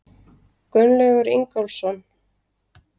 Gunnlaugur Ingólfsson.